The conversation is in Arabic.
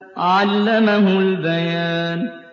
عَلَّمَهُ الْبَيَانَ